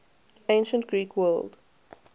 ancient greek world